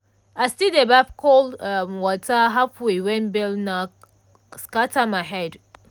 i still dey baff cold um water halfway when bell knock scatter my head.